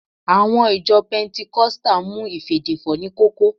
Àwọn ìjọ pẹntikọ́stà mú ìfèdèfọ̀ ní kókó